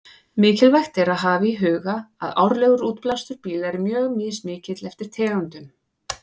Mikilvægt er að hafa í huga að árlegur útblástur bíla er mjög mismikill eftir tegundum.